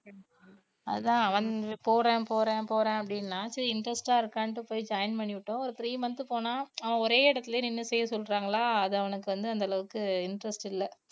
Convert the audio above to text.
அதான் அவன்~ போறேன் போறேன் போறேன் அப்படின்னா சரி interest ஆ இருக்கானுட்டு போய் join பண்ணி விட்டோம் ஒரு three month போனான் அவன் ஒரே இடத்திலயே நின்னு செய்யச் சொல்றாங்களா அது அவனுக்கு வந்து அந்த அளவுக்கு interest இல்ல